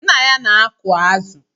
Nna ya na-aku azụ